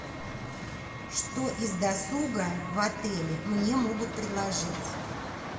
что из досуга в отеле мне могут предложить